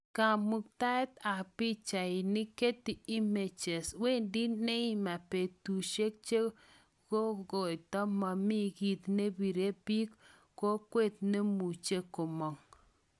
Kamuktaet ab pichainik, Getty Images"Wendi Neymar betushe chuikotko momi kit nebire bik kwonget nemuch komog